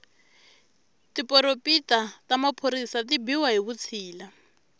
tiporompita ta maphorisa ti biwa hi vutshila